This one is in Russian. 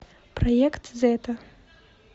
проект зета